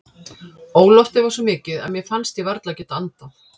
Óloftið var svo mikið að mér fannst ég varla geta andað.